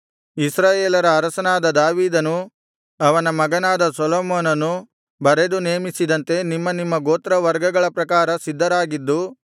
ಇಸ್ರಾಯೇಲರ ಅರಸನಾದ ದಾವೀದನೂ ಅವನ ಮಗನಾದ ಸೊಲೊಮೋನನೂ ಬರೆದು ನೇಮಿಸಿದಂತೆ ನಿಮ್ಮ ನಿಮ್ಮ ಗೋತ್ರವರ್ಗಗಳ ಪ್ರಕಾರ ಸಿದ್ಧರಾಗಿದ್ದು